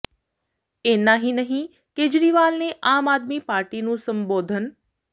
ਇਨ੍ਹਾਂ ਹੀ ਨਹੀਂ ਕੇਜਰੀਵਾਲ ਨੇ ਆਮ ਆਦਮੀ ਪਾਰਟੀ ਨੂੰ ਸੰਬੋਧਨ